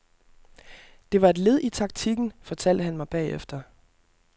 Det var et led i taktikken, fortalte han mig bagefter.